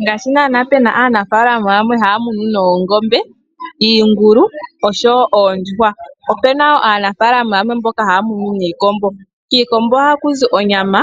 Ngaashi pena aanafalama yamwe haya munu oongombe, iingulu noondjuhwa opuna aanafalama yamwe mboka haya munu iikombo. Kiikombo ohaku zi onyama